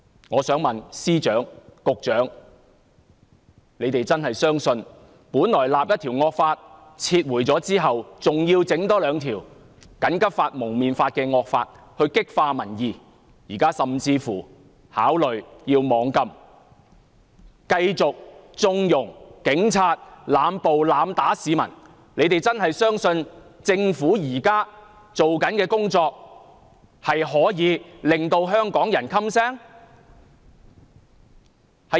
我想問司長、局長是否真的相信，政府本來訂立一項惡法，在撤回後，還要多訂立《禁止蒙面規例》這惡法來激化民憤，現在甚至考慮要"網禁"，繼續縱容警察濫捕、濫打市民，他們是否真的相信政府現在做的工作可以令香港人噤聲？